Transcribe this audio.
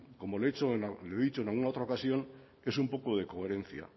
como lo he dicho en alguna otra ocasión es un poco de coherencia